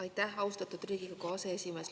Aitäh, austatud Riigikogu aseesimees!